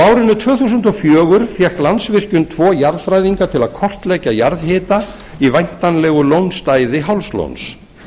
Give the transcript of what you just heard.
árinu tvö þúsund og fjögur fékk landsvirkjun tvo jarðfræðinga til að kortleggja jarðhita í væntanlegu lónstæði hálslóns